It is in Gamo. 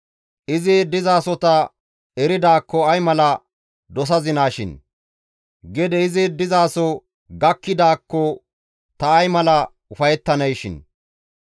Izi dizasota eridaakko ay mala dosazinaashin; gede izi dizaso gakkidaakko ta ay mala ufayettaneeshin;